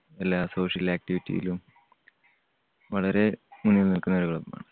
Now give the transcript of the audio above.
എല്ലാ social activity യിലും വളരെ മുന്നിൽ നിൽക്കുന്ന ഒരു club ആണ്.